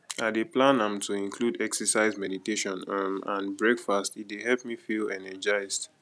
i dey plan am to include exercise meditation um and breakfast e dey help me feel energized